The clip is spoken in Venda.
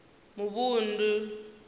muvhundu